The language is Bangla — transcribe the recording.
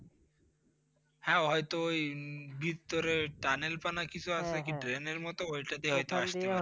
হ্যাঁ হয়তো ওই ভিতরে Tunnel পানা কিছু আছে কি, মতো ওখান দিয়ে হয়তো আস্তে পারে।